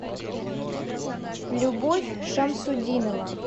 любовь шамсутдинова